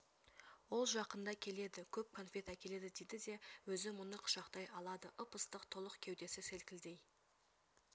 ол жақында келеді көп конфет әкеледі дейді де өзі мұны құшақтай алады ып-ыстық толық кеудесі селкілдей